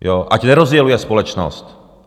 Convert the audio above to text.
Ať nerozděluje společnost!